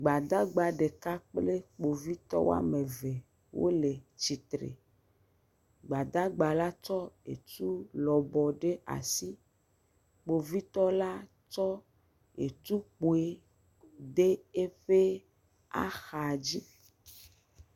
Gbadagba ɖeka kple kpovitɔwo woame eve wole tsitre. Gbadagba la tsɔ etu lɔbɔ ɖe asi. Kpovitɔla kɔ etu kpui ɖe eƒe axa dzi.